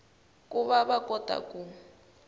ku va va kota ku